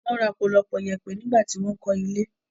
Wọn ra ọpọlọpọ iyẹ̀pẹ̀ nigbati wọn ń kọ́ ilé